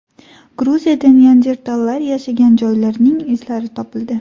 Gruziyada neandertallar yashagan joylarining izlari topildi.